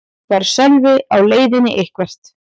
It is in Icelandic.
Var Sölvi á leiðinni eitthvert?